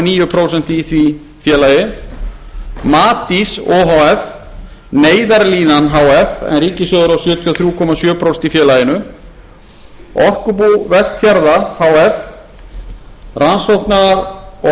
níu prósent í því félagi matís o h f neyðarlínan h f en ríkissjóður á sjötíu og þrjú komma sjö prósent í félaginu orkubú vestfjarða h f rannsókna og